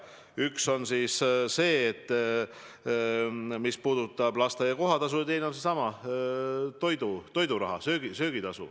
Üks näitab lasteaia kohatasu, teine toiduraha, söögitasu.